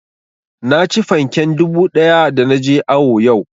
Naci fanken dubu ɗaya da na je awo yau